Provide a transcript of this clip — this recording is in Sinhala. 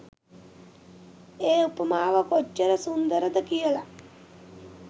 ඒ උපමාව කොච්චර සුන්දරද කියල.